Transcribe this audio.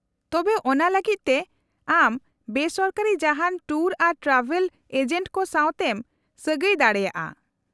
-ᱛᱚᱵᱮ, ᱚᱱᱟ ᱞᱟᱹᱜᱤᱫ ᱛᱮ ᱟᱢ ᱵᱮ ᱥᱚᱨᱠᱟᱨᱤ ᱡᱟᱦᱟᱸᱱ ᱴᱩᱨ ᱟᱨ ᱴᱨᱟᱵᱷᱮᱞ ᱮᱡᱮᱱᱴ ᱠᱚ ᱥᱟᱶᱛᱮᱢ ᱥᱟᱹᱜᱟᱹᱭ ᱫᱟᱲᱮᱭᱟᱜᱼᱟ ᱾